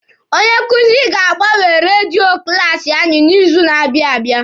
Onye nkuzi anyị ga-agbanwe redio klaasi anyị n'izu na-abịa abịa.